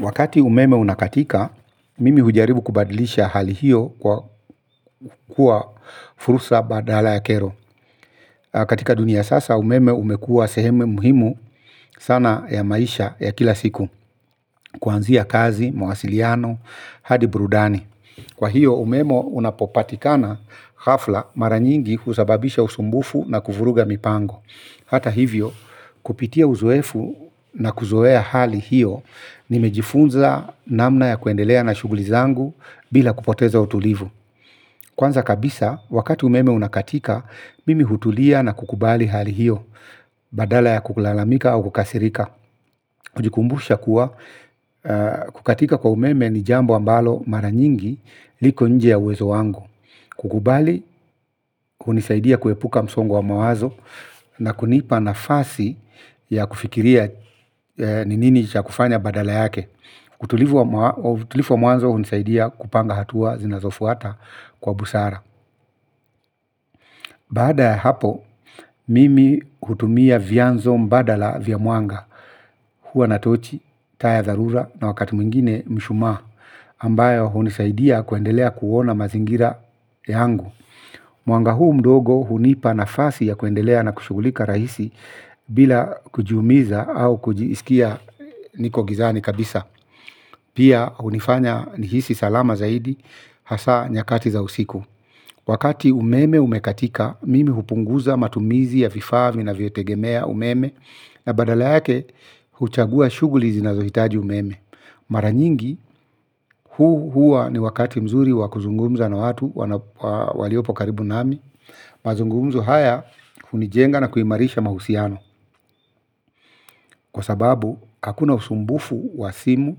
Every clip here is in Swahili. Wakati umeme unakatika, mimi hujaribu kubadilisha hali hiyo kwa kua fursa badala ya kero. Katika dunia sasa, umeme umekua sehemu muhimu sana ya maisha ya kila siku, kuanzia kazi, mawasiliano, hadi burudani. Kwa hiyo, umeme unapopatikana hafla mara nyingi huzababisha usumbufu na kuvuruga mipango. Hata hivyo kupitia uzoefu na kuzoea hali hiyo nimejifunza namna ya kuendelea na shuguli zangu bila kupoteza utulivu. Kwanza kabisa wakati umeme unakatika mimi hutulia na kukubali hali hiyo badala ya kukulalamika au kukasirika hujikumbusha kuwa kukatika kwa umeme ni jambo ambalo mara nyingi liko nje ya uwezo wangu kukubali, hunisaidia kuepuka msongo wa mawazo na kunipa nafasi ya kufikiria ni nini cha kufanya badala yake. Utulivu wa mwanzo, hunisaidia kupanga hatua zinazofuata kwa busara. Baada ya hapo, mimi hutumia vyanzo mbadala vya mwanga. Huwa na tochi, taa ya dharura na wakati mwingine mshumaa, ambayo hunisaidia kuendelea kuona mazingira yangu. Mwanga huu mdogo hunipa nafasi ya kuendelea na kushugulika rahisi bila kujiumiza au kujisikia niko gizani kabisa. Pia hunifanya nihisi salama zaidi hasaa nyakati za usiku. Wakati umeme umekatika, mimi hupunguza matumizi ya vifaa vinavyotegemea umeme na badala yake huchagua shuguli zinazohitaji umeme. Mara nyingi, huu hua ni wakati mzuri wa kuzungumza na watu waliopo karibu nami. Mazungumzo haya hunijenga na kuimarisha mahusiano. Kwa sababu hakuna usumbufu wa simu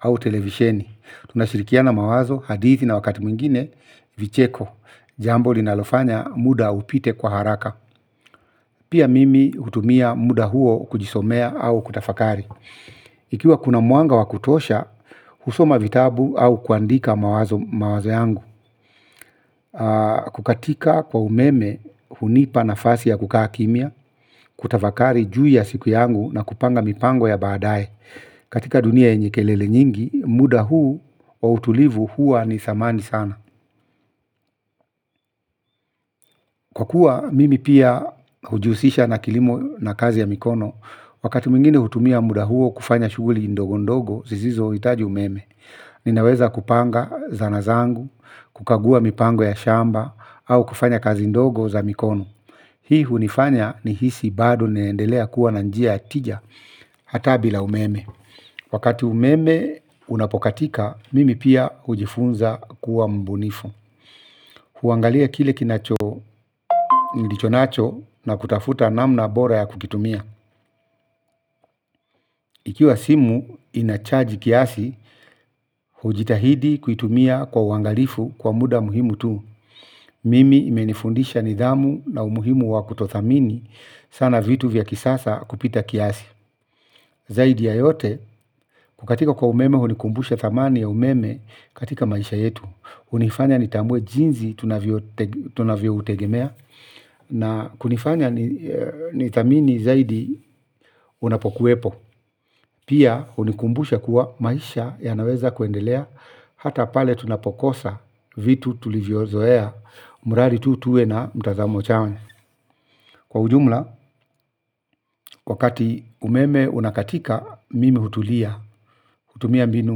au televisheni. Tunashirikiana mawazo hadithi na wakati mwingine vicheko. Jambo linalofanya muda upite kwa haraka. Pia mimi hutumia muda huo kujisomea au kutafakari. Ikiwa kuna mwanga wa kutosha husoma vitabu au kuandika mawazo yangu. Kukatika kwa umeme hunipa nafasi ya kukaa kimya. Kutafakari juu ya siku yangu na kupanga mipango ya baadae. Katika dunia yenye kelele nyingi muda huu wa utulivu hua ni thamani sana. Kwa kuwa mimi pia hujihusisha na kilimo na kazi ya mikono. Wakati mwingine hutumia muda huo kufanya shuguli ndogo ndogo zisizo hitaji umeme. Ninaweza kupanga zana zangu. Kukagua mipango ya shamba au kufanya kazi ndogo za mikono. Hii hunifanya nihisi bado naendelea kuwa na njia ya tija. Hata bila umeme. Wakati umeme unapokatika, mimi pia hujifunza kuwa mbunifu. Huangalia kile kinacho nilichonacho na kutafuta namna bora ya kukitumia. Ikiwa simu inachaji kiasi, hujitahidi kuitumia kwa uangalifu kwa muda muhimu tu. Mimi imenifundisha nidhamu na umuhimu wa kutothamini sana vitu vya kisasa kupita kiasi. Zaidi ya yote kukatika kwa umeme hunikumbusha thamani ya umeme katika maisha yetu hunifanya nitambue jinzi tunavyo utegemea na kunifanya nithamini zaidi unapokuwepo. Pia hunikumbusha kuwa maisha yanaweza kuendelea. Hata pale tunapokosa vitu tulivyozoea. Mradi tu tuwe na mtazamo chanya. Kwa ujumla wakati umeme unakatika mimi hutulia kutumia mbinu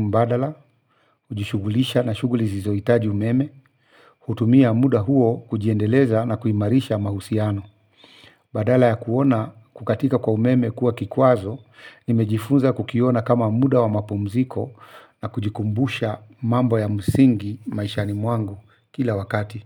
mbadala, hujishugulisha na shuguli zisizohitaji umeme kutumia muda huo kujiendeleza na kuimarisha mahusiano badala ya kuona kukatika kwa umeme kuwa kikwazo nimejifunza kukiona kama muda wa mapumziko na kujikumbusha mambo ya msingi maishani mwangu kila wakati.